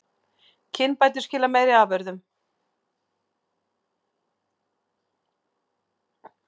Kynbætur skila meiri afurðum